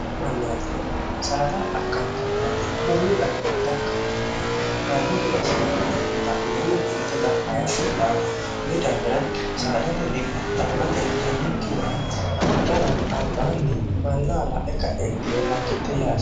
mannootino saada akkaantannoete mullu garinni dakka monnihaati manno gedassin k'nenimixa'mineenn ku'lite daff yaatto saada huyi daafira saadante a'mte injannokkihura a'mitara albaanni mannaa la e ka'entinni makkitte yaa